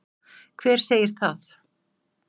Hver segir það?